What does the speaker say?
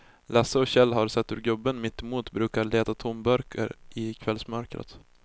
Lasse och Kjell har sett hur gubben mittemot brukar leta tomburkar i kvällsmörkret.